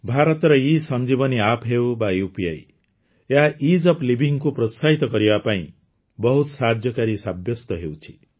ଭାରତର ଏସଞ୍ଜୀଭନି App ହେଉ ବା ଉପି ଏହା ଇଜ୍ ଓଏଫ୍ livingକୁ ପ୍ରୋତ୍ସାହିତ କରିବା ପାଇଁ ବହୁତ ସାହାଯ୍ୟକାରୀ ସାବ୍ୟସ୍ତ ହେଉଛି